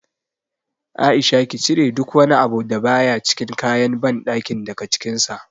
A'isha ki cire duk wani abu da baya cikin kayan banɗakin daga cikin sa.